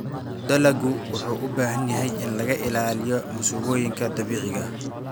Dalaggu wuxuu u baahan yahay in laga ilaaliyo masiibooyinka dabiiciga ah.